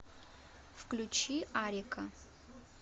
включи арика